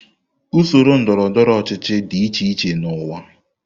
Usoro ndọrọ ndọrọ ọchịchị dị iche iche n'ụwa.